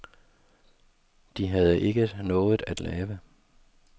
De havde ikke noget at lave.